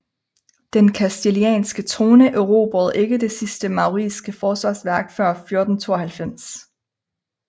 Den kastilianske trone erobrede ikke det sidste mauriske forsvarsværk før 1492